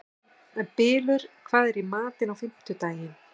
Bylur, hvað er í matinn á fimmtudaginn?